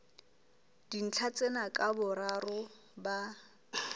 dintlha tsena ka boraro ba